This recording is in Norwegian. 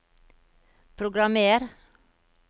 programmer